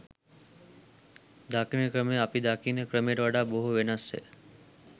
දකින ක්‍රමය අපි දකින ක්‍රමයට වඩා බොහෝ වෙනස්ය